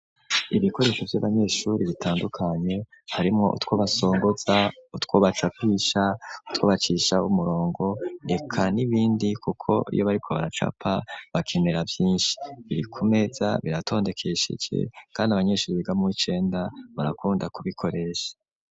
Ibikoresho vy'abanyeshuri bitandukanye harimwo utwo basongoza utwo bacapisha utwo bacisha umurongo reka n'ibindi kuko iyo bariko baracapa bakenera vyinshi biri kumeza biratondekesheje kandi abanyeshuri biga mu w'icenda barakunda kubikoresha.